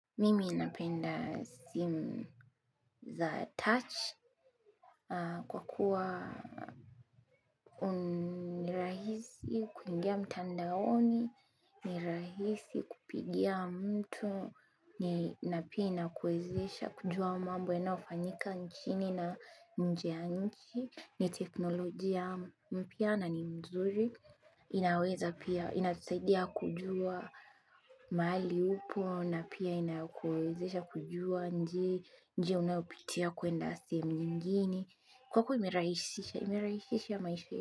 Mimi napenda simu za touch kwa kuwa ni rahisi kuingia mtandaoni, ni rahisi kupigia mtu, na pia inakuwezesha kujua mambo yanayofanyika nchini na nje ya nchi, ni teknolojia mpya na ni mzuri. Inaweza pia, inatusaidia kujua mahali upo na pia inakuwezesha kujua njia unayopitia kwenda sehemu nyingine. Kwako imerahisisha, imerahisisha maisha.